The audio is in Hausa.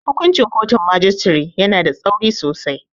Hukuncin kotun majistare yana da tsauri sosai.